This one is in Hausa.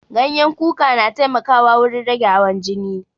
Ganyen kuka na taimaka wurin rage hawan jini